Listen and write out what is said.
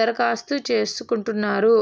దరఖాస్తు చేసు కుంటున్నా రు